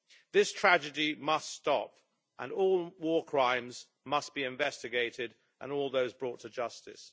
This tragedy must stop, and all war crimes must be investigated and all those brought to justice.